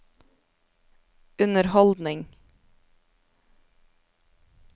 underholdning